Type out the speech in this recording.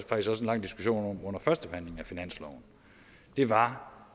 lang diskussion om under førstebehandlingen af finansloven var